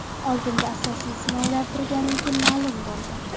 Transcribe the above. Oldinda asosiy sinovlar turganligi ma’lum bo‘ldi.